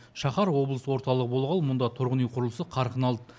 шаһар облыс орталығы болғалы мұнда тұрғын үй құрылысы қарқын алды